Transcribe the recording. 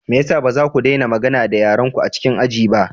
Me ya sa ba za ku daina magana da yarenku a cikin aji ba?